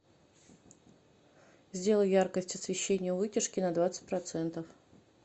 сделай яркость освещение у вытяжки на двадцать процентов